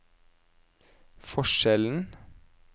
forskjellen